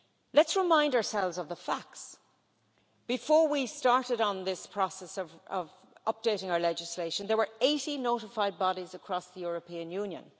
Let's remind ourselves of the facts Before we started on this process of updating our legislation, there were 80 notified bodies across the European Union.